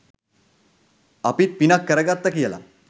අපිත් පිනක්‌ කරගත්තා කියලා